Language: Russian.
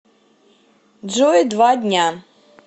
джой два дня